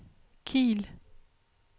Kiel